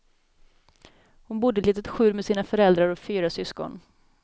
Hon bodde i ett litet skjul med sina föräldrar och fyra syskon.